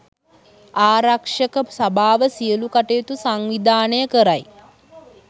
ආරක්ෂක සභාව සියලු කටයුතු සංවිධානය කරයි